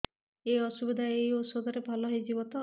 ଏଇ ଅସୁବିଧା ଏଇ ଔଷଧ ରେ ଭଲ ହେଇଯିବ ତ